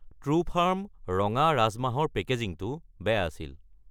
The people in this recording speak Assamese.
ট্ৰুফাৰ্ম ৰঙা ৰাজমাহ ৰ পেকেজিঙটো বেয়া আছিল।